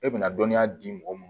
E bɛna dɔnniya di mɔgɔ mun ma